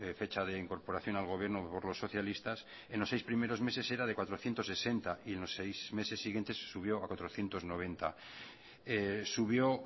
fecha de incorporación al gobierno por los socialistas en los seis primeros meses era de cuatrocientos sesenta y en los seis meses siguientes se subió a cuatrocientos noventa subió